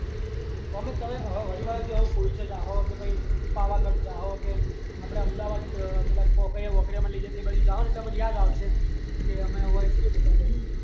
અમે તય આ હવે વાળ થી એવું પૂછશે કે જાહો કે પછી પાવાગઢ જાવ કે આમળા અમદાવાદ પેલા કોકૈયા કોકૈયા લઇ જાયે ને એ બાજુ જાવ ને અમી લ્યાજ આવને કે અમે કેવું એવું